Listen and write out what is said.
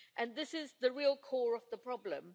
This is the real core of the problem.